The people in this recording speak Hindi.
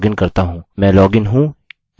याद रखिये मैं लॉगइन नहीं हूँ तो मैं लॉगिन करता हूँ